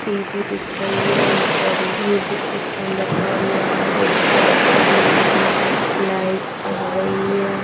TB दिख रही है एक बड़ी म्यूजिक सिस्टम रखा हुआ है पोस्टर्स लगे हुए हैं लाइट जल रही है।